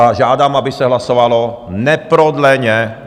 A žádám, aby se hlasovalo neprodleně.